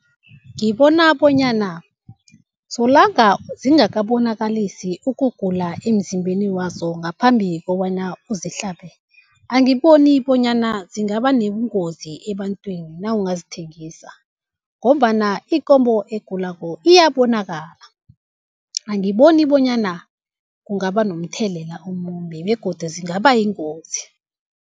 Ngibona bonyana solanga zingakabonakalisi ukugula emzimbeni wazo ngaphambi kobana uzihlabe, angiboni bonyana zingaba nobungozi ebantwini nawungazithengisa, ngombana ikomo egulako iyabonakala. Angiboni bonyana kungaba nomthelela omumbi begodu zingabayingozi.